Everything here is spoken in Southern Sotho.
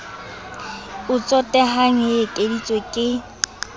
o tsotehang e ekeditswe ke